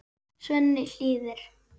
Svenni hlýðir.